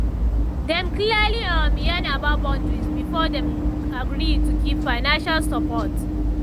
dem clearly um yarn about boundaries before dem agree to give financial support